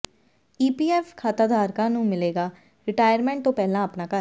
EPF ਖਾਤਾਧਾਰਕਾਂ ਨੂੰ ਮਿਲੇਗਾ ਰਿਟਾਇਰਮੈਂਟ ਤੋਂ ਪਹਿਲਾਂ ਆਪਣਾ ਘਰ